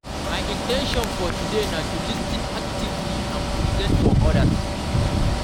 My in ten tion for today na to lis ten actively and be present for odas.